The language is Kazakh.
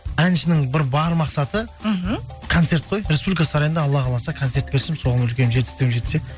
әншінің бір бар мақсаты мхм концерт қой республика сарайында алла қаласа концерт берсем соған үлкен жетістігіме жетсе